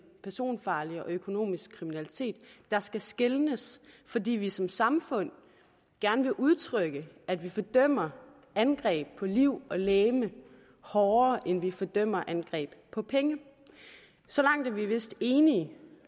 personfarlig og økonomisk kriminalitet der skal skelnes fordi vi som samfund gerne vil udtrykke at vi fordømmer angreb på liv og legeme hårdere end vi fordømmer angreb på penge så langt er vi vist enige